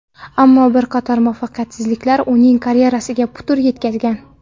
Ammo bir qator muvaffaqiyatsizliklar uning karyerasiga putur yetkazgan.